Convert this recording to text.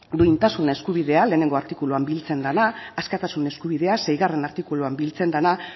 duintasun eskubidea lehenengo artikuluan biltzen dena askatasun eskubidea seigarrena artikuluan biltzen dena